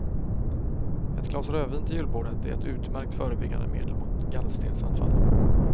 Ett glas rödvin till julbordet är ett utmärkt förebyggande medel mot gallstensanfall.